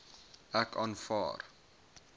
ek aanvaar